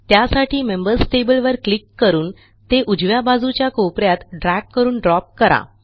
त्यासाठी members table वर click करून ते उजव्या बाजूच्या कोप यात ड्रॅग करून ड्रॉप करा